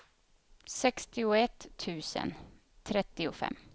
sextioett tusen trettiofem